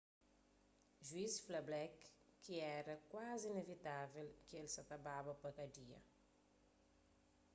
juiz fla blake ma éra kuazi inivitável ki el sa baba pa kadia